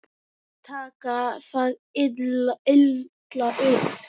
Ekki taka það illa upp.